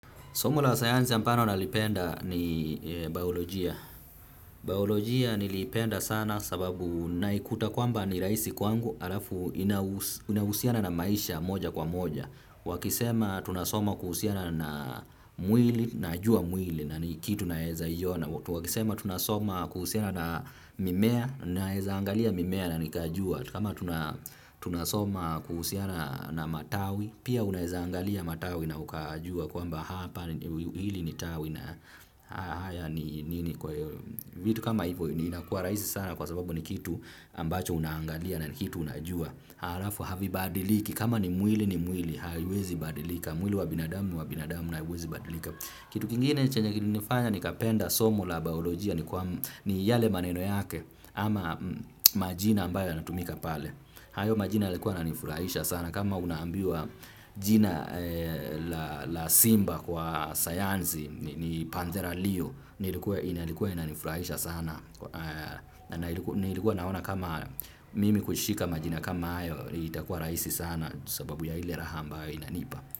Somo la sayanzi ambalo nalipenda ni biolojia. Biolojia niliipenda sana sababu naikuta kwamba ni rahisi kwangu halafu inahusiana na maisha moja kwa moja. Wakisema tunasoma kuhusiana na mwili najua mwili na nikitu naeza iona. Wakisema tunasoma kuhusiana na mimea naeza angalia mimea na nikajua tu. Kama tunasoma kuhusiana na matawi, pia unaeza angalia matawi na ukajua kwamba hapa hili ni tawi na haya ni nini kwa hivyo. Vitu kama hivyo inakua rahisi sana kwa sababu ni kitu ambacho unaangalia na kitu unajua. Halafu havibadiliki kama ni mwili ni mwili haiwezi badilika. Mwili wa binadamu ni wa binadamu na haiwezi badilika. Kitu kingine chenye kilinifanya nikapenda somo la biolojia ni kwamba ni yale maneno yake ama majina ambayo yanatumika pale. Hayo majina yalikuwa yananifurahisha sana kama unaambiwa jina la la simba kwa sayanzi ni panthera lio ilikuwa inanifurahisha sana na nilikuwa naona kama mimi kushika majina kama hayo itakuwa rahisi sana sababu ya ile raha ambayo inanipa.